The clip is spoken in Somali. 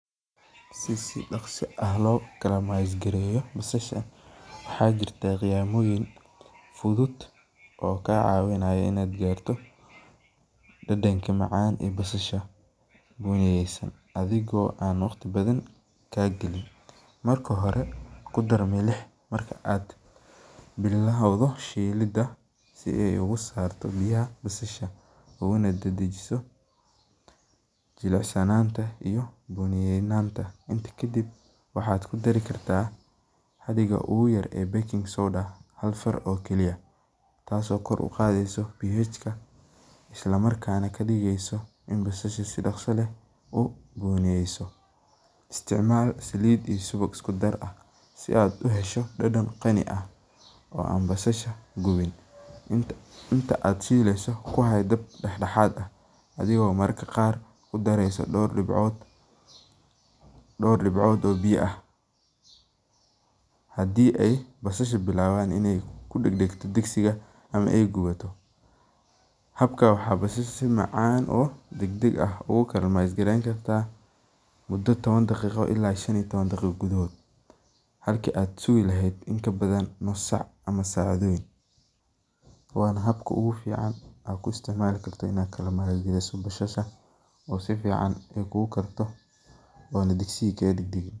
Si si daqsi ah ukariso basasha, adhigo aan waqti badan kaa galin, kudar milix, inta kadib ku dar hal far taas oo kadigeysa in basasha si fican ukarto, inta aad shileyso ku haay dab dexdeeda ah, hadii aay bilawdo inaay kudagto digsiga, halki aad sugi leheed hal saac, waana habka oogu fican oo aad ku karin karto bashaha.